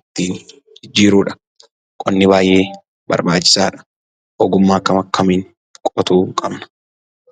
ittiin jijjiiruudha. Qonni baayyee barbaachisaa dha. Ogummaa akkam akkamiin qotuu qabna?